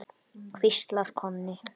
hvíslar Konni.